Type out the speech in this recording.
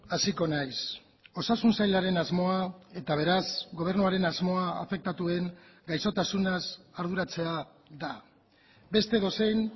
hasiko naiz osasun sailaren asmoa eta beraz gobernuaren asmoa afektatuen gaixotasunaz arduratzea da beste edozein